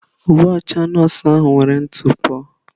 Uwe ọcha nọọsụ ahụ nwere ntụpọ.